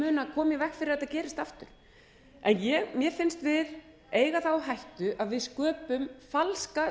veg fyrir að þetta gerist aftur mér finnst við eiga það á hættu að við sköpum falska